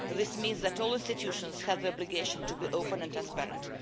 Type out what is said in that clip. This means that all institutions have the obligation to be open and transparent.